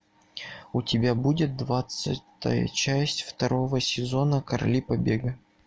у тебя будет двадцатая часть второго сезона короли побега